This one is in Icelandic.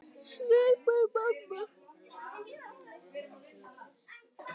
Svipur mömmu